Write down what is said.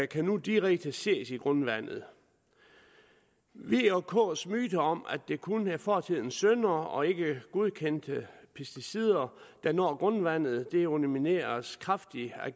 kan nu direkte ses i grundvandet v og k’s myter om at det kun er fortidens synder og ikke godkendte pesticider der når grundvandet undermineres kraftigt af